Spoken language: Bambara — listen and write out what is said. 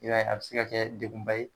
I b'a ye , a be se ka kɛ dekun ba ye